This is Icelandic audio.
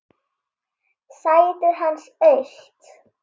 Sætið hans autt.